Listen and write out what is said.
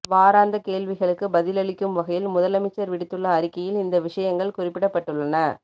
வாராந்த கேள்விகளுக்கு பதிலளிக்கும் வகையில் முதலமைச்சர் விடுத்துள்ள அறிக்கையில் இந்த விடயங்கள் குறிப்பிடப்பட்டுள்ளன